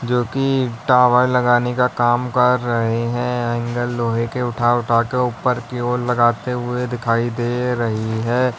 जो कि टावर लगाने का काम कर रहे हैं एंगल लोहे के उठा उठा के ऊपर की ओर लगाते हुए दिखाई दे रही है।